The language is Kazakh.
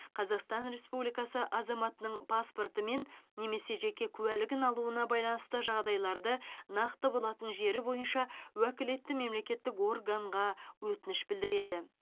қазақстан республикасы азаматының паспорты мен немесе жеке куәлігін алуына байланысты жағдайларда нақты болатын жері бойынша уәкілетті мемлекеттік органға өтініш білдіреді